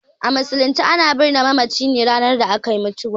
A musulunce a na birne mamaci ranar akai mutuwa ne